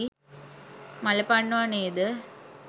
මල පනිනව නේද?